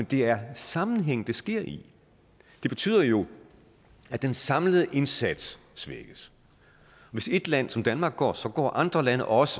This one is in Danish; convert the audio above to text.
det er sammenhængen det sker i det betyder jo at den samlede indsats svækkes hvis et land som danmark går så går andre lande også